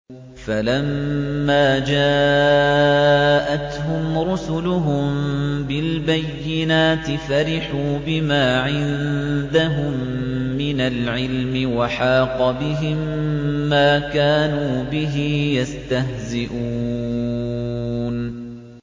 فَلَمَّا جَاءَتْهُمْ رُسُلُهُم بِالْبَيِّنَاتِ فَرِحُوا بِمَا عِندَهُم مِّنَ الْعِلْمِ وَحَاقَ بِهِم مَّا كَانُوا بِهِ يَسْتَهْزِئُونَ